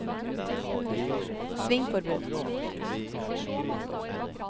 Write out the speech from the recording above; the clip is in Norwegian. svingforbud